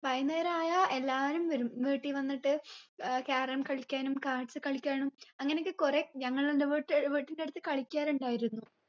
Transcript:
വൈന്നേരായ എല്ലാരും വരും വീട്ടി വന്നിട്ട് ഏർ carom കളിക്കാനും cards കളിക്കാനും അങ്ങനെയൊക്കെ കുറേ ഞങ്ങൾ എൻ്റെ വീട്ട് വീട്ടിന്റെ അട്ത്ത് കളിക്കാറുണ്ടായിരുന്നു